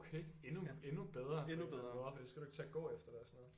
Okay endnu endnu bedre for så skal du ikke til at gå efter det og sådan noget